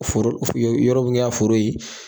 Foro uf u ye yɔrɔ min kɛ a foro ye